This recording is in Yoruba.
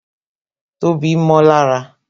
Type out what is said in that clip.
Tobi mó lára